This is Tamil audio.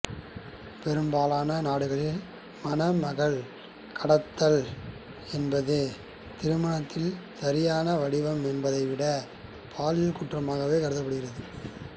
பெரும்பாலான நாடுகளில் மணமகள் கடத்தல் என்பது திருமணத்தின் சரியான வடிவம் என்பதை விட பாலியல் குற்றமாகவே கருதப்படுகிறது